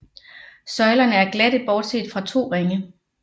Søjlerne er glatte bortset fra to ringe